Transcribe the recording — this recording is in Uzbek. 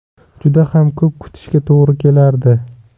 Juda ham ko‘p kutishga to‘g‘ri kelardi.